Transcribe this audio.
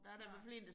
Nej